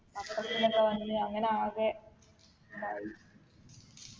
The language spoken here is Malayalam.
പത്രത്തിൽ ഒക്കെ വന്ന് അങ്ങനെ ആകെ ഇതായി